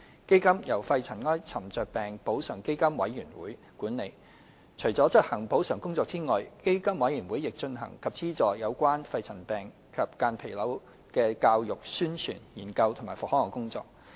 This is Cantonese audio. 基金由肺塵埃沉着病補償基金委員會管理，除了執行補償工作外，基金委員會亦進行及資助有關肺塵病及間皮瘤的教育、宣傳、研究及復康工作。